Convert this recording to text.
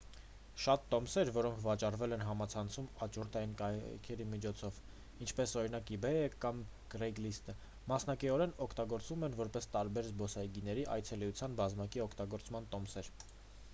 շատ տոմսեր որոնք վաճառվել են համացանցով աճուրդային կայքերի միջոցով ինչպես օրինակ իբեյը կամ կրեյգլիստը մասնակիորեն օգտագործվում են որպես տարբեր զբոսայգիների այցելության բազմակի օգտագործման տոմսեր